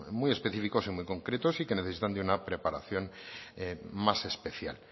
muy específicos y muy concretos y que necesitan de una preparación más especial